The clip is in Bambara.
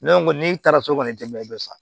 Ne ko n'i taara so kɔni tɛ mɛ i bɛ sa